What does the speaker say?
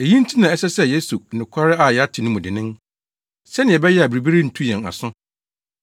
Eyi nti na ɛsɛ sɛ yeso nokware a yɛate no mu dennen, sɛnea ɛbɛyɛ a biribi rentu yɛn aso.